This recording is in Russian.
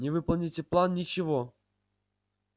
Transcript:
не выполните план ничего